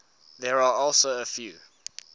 there are also a few